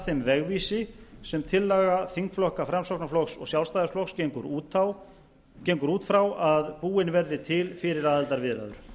þeim vegvísi sem tillaga þingflokka framsóknarflokks og sjálfstæðisflokks gengur út frá að búin verði til fyrir aðildarviðræður